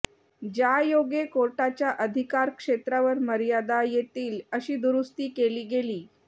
ज्यायोगे कोर्टाच्या अधिकारक्षेत्रावर मर्यादा येतील अशी दुरुस्ती केली गेली